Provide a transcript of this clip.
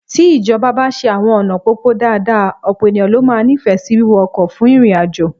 Tí ìjọba bá ṣe àwọn ọ̀nà pópó dáadáa, ọ̀pọ̀ ènìyàn ló máa nífẹ̀ẹ́ sí wíwọ ọkọ̀ fún ìrìnàjò